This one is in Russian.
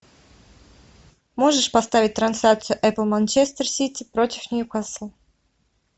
можешь поставить трансляцию апл манчестер сити против ньюкасл